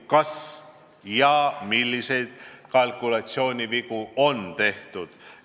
Kas ja milliseid kalkulatsioonivigu on tehtud?